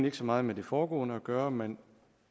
ikke så meget med det foregående at gøre men